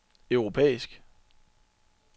europæisk